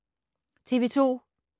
TV 2